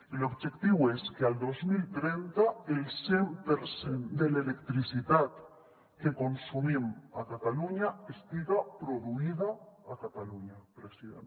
i l’objectiu és que el dos mil trenta el cent per cent de l’electricitat que consumim a catalunya estiga produïda a catalunya president